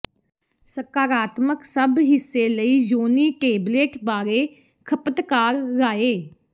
ਸਕਾਰਾਤਮਕ ਸਭ ਹਿੱਸੇ ਲਈ ਯੋਨੀ ਟੇਬਲੇਟ ਬਾਰੇ ਖਪਤਕਾਰ ਰਾਏ